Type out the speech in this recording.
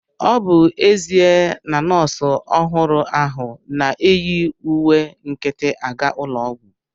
Ọ bụ ezia na nọọsụ ọhụrụ ahu na-eyi uwe nkịtị aga ụlọ ọgwụ